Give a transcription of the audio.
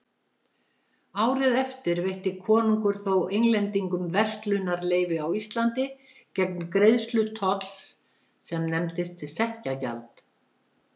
Árið eftir veitti konungur þó Englendingum verslunarleyfi á Íslandi gegn greiðslu tolls sem nefndist sekkjagjald.